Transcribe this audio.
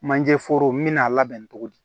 Manje foro me n'a labɛn cogo di